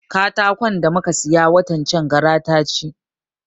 Katakon da muka siya watan can gara ta ci